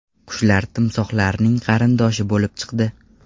Qushlar timsohlarning qarindoshi bo‘lib chiqdi.